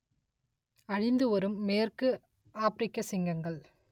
அழிந்து வரும் மேற்கு ஆப்பிரிக்க சிங்கங்கள்